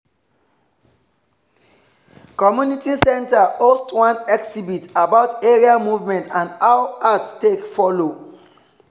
community center host one exhibit about area movement and how art take follow.